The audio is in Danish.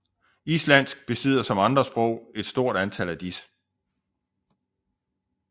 Islandsk besidder som andre sprog et stort antal af disse